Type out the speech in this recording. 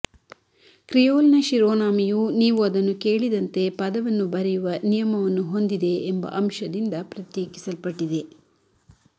ಕ್ರಿಯೋಲ್ನ ಶಿರೋನಾಮೆಯು ನೀವು ಅದನ್ನು ಕೇಳಿದಂತೆ ಪದವನ್ನು ಬರೆಯುವ ನಿಯಮವನ್ನು ಹೊಂದಿದೆ ಎಂಬ ಅಂಶದಿಂದ ಪ್ರತ್ಯೇಕಿಸಲ್ಪಟ್ಟಿದೆ